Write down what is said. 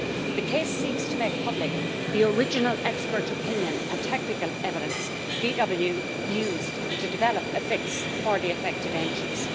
The case seeks to make public the original expert opinion and technical evidence VW used to develop a fix for the affected engines.